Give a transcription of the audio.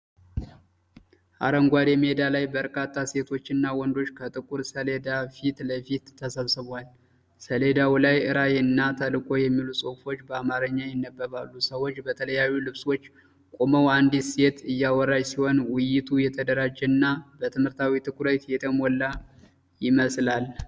አረንጓዴ ሜዳ ላይ በርካታ ሴቶችና ወንዶች ከጥቁር ሰሌዳ ፊት ለፊት ተሰብስበዋል። ሰሌዳው ላይ "ራዕይ" እና "ተልዕኮ" የሚሉ ጽሑፎች በአማርኛ ይነበባሉ። ሰዎች በተለያዩ ልብሶች ቆመው አንዲት ሴት እያወራች ሲሆን፣ ውይይቱ የተደራጀና በትምህርታዊ ትኩረት የተሞላ ይመስላል።